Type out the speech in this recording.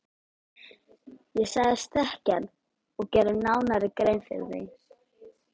Ég sagðist þekkja hann og gerði nánari grein fyrir því.